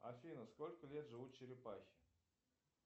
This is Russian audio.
афина сколько лет живут черепахи